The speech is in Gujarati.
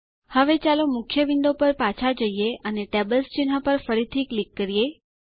હવે ચાલો મુખ્ય વિન્ડો પર પાછા જઈએ અને ટેબલ્સ ચિહ્ન પર ફરીથી ક્લિક કરીએ